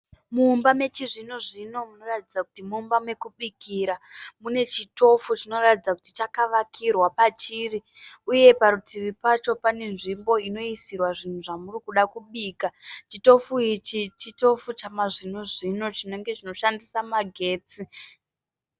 Mumba mechizvinozvino munoratidza kuti mumba mekubikira. Mune chitofu chinoratidza kuti chakavakirwa pachiri uye parutivi pacho pane nzvimbo inoisirwa zvinhu zvamurikuda kubikirwa chitofu ichi chitofu chamazvinozvino chinenge chinoshandisa magetsi.